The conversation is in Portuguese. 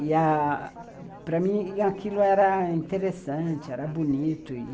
E a, para mim, aquilo era interessante, era bonito.